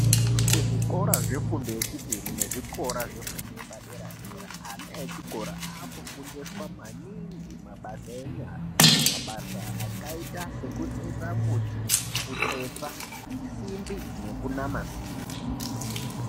Kuzvikora zvefundo yechipiri nekuzvikora zvefundo yepadera dera ana echikora akufundiswa maningi mabasa enyara. Mabasa akaita sekutsetsa mbuti, kutsetsa simbi nekunama simbi.